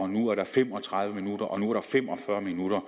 nu er der fem og tredive minutters og nu er der fem og fyrre minutters